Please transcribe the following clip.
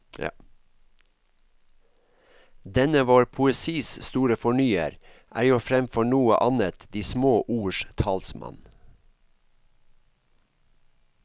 Denne vår poesis store fornyer er jo fremfor noe annet de små ords talsmann.